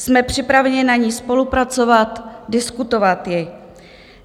Jsme připraveni na ní spolupracovat, diskutovat ji.